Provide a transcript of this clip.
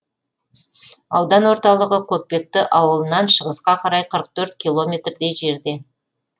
аудан орталығы көкпекті ауылынан шығысқа қарай қырық төрт километрдей жерде